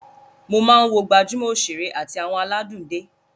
Mo máa ń wo gbajúmọ̀ òṣèré àti àwọn aládùn dé